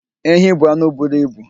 Ehi bụ anụ buru ibu.